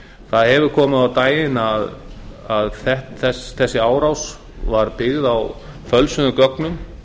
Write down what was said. það hefur komið á daginn að þessi árás var byggð á fölsuðum gögnum